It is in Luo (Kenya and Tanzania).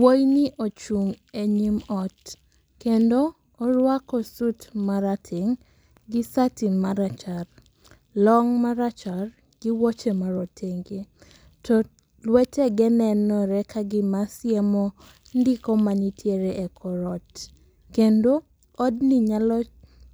Wuoyini ochung' e nyim ot kendo oruako sut marateng' gi sati marachar. Long' marachar gi wuoche marotenge. To luetege nenore kagima siemo ndiko manitiere e kor ot. Kendo odni nyalo